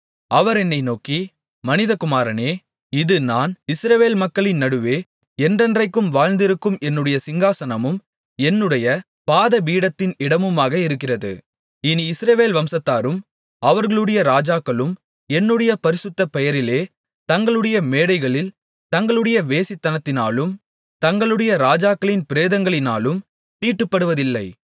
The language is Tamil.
அவர் என்னை நோக்கி மனிதகுமாரனே இது நான் இஸ்ரவேல் மக்களின் நடுவே என்றென்றைக்கும் வாழ்ந்திருக்கும் என்னுடைய சிங்காசனமும் என்னுடைய பாதபீடத்தின் இடமுமாக இருக்கிறது இனி இஸ்ரவேல் வம்சத்தாரும் அவர்களுடைய ராஜாக்களும் என்னுடைய பரிசுத்தப் பெயரிலே தங்களுடைய மேடைகளில் தங்களுடைய வேசித்தனத்தினாலும் தங்களுடைய ராஜாக்களின் பிரேதங்களினாலும் தீட்டுப்படுத்துவதில்லை